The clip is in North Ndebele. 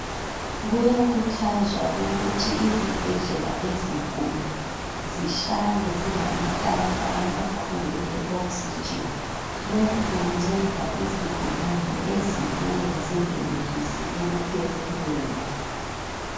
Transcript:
Kuyakhuthazwa ukuthi izibhedlela ezinkulu zihlale zilamatanka amakhulu e Oxygen lokhu kunceda izigulane ezibuya zingenelisi ukuphefumula.